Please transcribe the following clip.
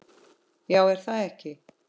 Já er það ekki?